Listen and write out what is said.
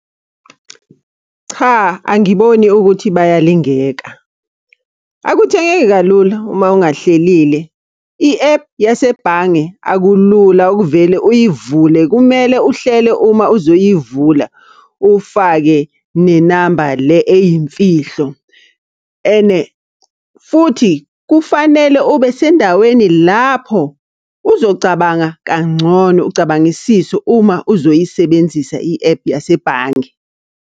Cha, angiboni ukuthi bayalingeka. Akuthengeki kalula uma ungahlelile. I-ephu yasebhange akulula ukuvele uyivule, kumele uhlele uma uzoyivula. Ufake nenamba le eyimfihlo and futhi kufanele ube sendaweni lapho uzocabanga kangcono, ucabangisise uma uzoyisebenzisa i-ephu yasebhange.